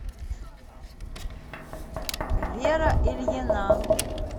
вера ильина